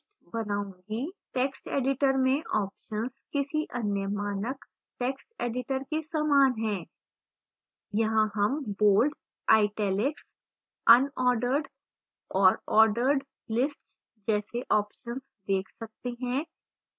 text editor में options किसी any मानक text editor के समान हैं यहां हम bold italics unordered और ordered lists जैसे options देख सकते हैं